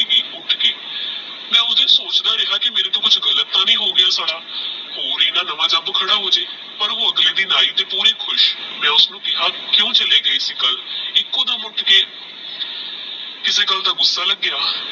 ਪੁਛਦਾ ਰਿਹਾ ਕੀ ਮੇਰੇ ਟੋਹ ਕੁਛ ਗਲਤ ਤਹ ਨਹੀ ਹੋ ਗਯਾ ਪਰ ਓਹ ਅਗਲੇ ਦਿਨ ਆਯੀ ਤਹ ਪੂਰੀ ਖੁਸ਼ ਮੈਲ ਕੇਹਾ ਕੁ ਚਲੇ ਗਏ ਸੀ ਕਲ ਏਕ ਦਮ ਉਠ ਕੇ ਕਸੀ ਗਲ ਦਾ ਗੁੱਸਾ ਲਾਗ੍ਯ